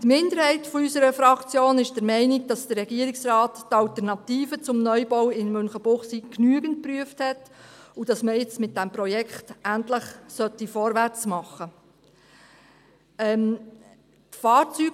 Die Minderheit unserer Fraktion ist der Meinung, dass der Regierungsrat die Alternativen zum Neubau in Münchenbuchsee genügend geprüft hat und dass man jetzt mit diesem Projekt endlich vorwärtsmachen sollte.